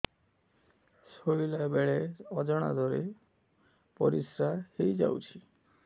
ଶୋଇଲା ବେଳେ ଅଜାଣତ ରେ ପରିସ୍ରା ହେଇଯାଉଛି